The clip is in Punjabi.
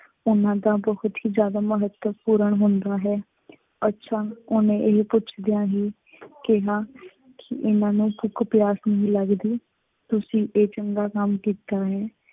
ਉਹਨਾ ਦਾ ਬਹੁਤ ਹੀ ਜਿਆਦਾ ਮਹੱਤਵਪੂਰਨ ਹੁੰਦਾ ਹੈ। ਅੱਛਾ ਉਹਨੇ ਇਹ ਪੁੱਛਦਿਆਂ ਹੀ ਕਿਹਾ ਕਿ ਇਹਨਾ ਨੂੰ ਭੁੱਖ ਪਿਆਸ ਨਹੀਂ ਲੱਗਦੀ, ਤੁਸੀਂ ਇਹ ਚੰਗਾ ਕੰਮ ਕੀਤਾ ਹੈ।